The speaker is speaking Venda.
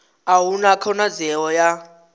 a hu na khonadzeo ya